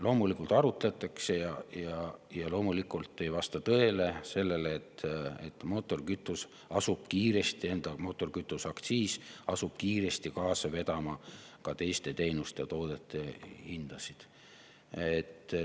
" Loomulikult arutleti ja loomulikult ei vasta tõele see, et mootorikütuse aktsiis asub kiiresti kaasa vedama ka teiste teenuste ja toodete hindasid.